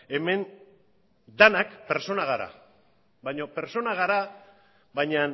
hemen denak pertsonak gara baina